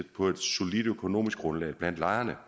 på et solidt økonomisk grundlag blandt lejerne